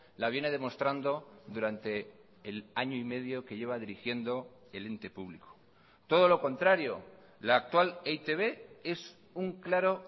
la viene demostrando durante el año y medio que lleva dirigiendo el ente público todo lo contrario la actual e i te be es un claro